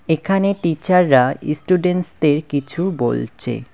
এখানে টিচাররা ইস্টুডেন্টদের কিছু বলছে।